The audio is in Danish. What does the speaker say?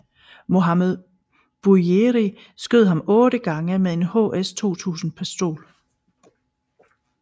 Mohammed Bouyeri skød ham otte gange med en HS 2000 pistol